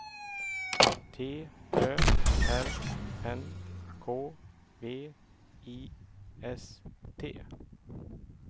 T Ö R N K V I S T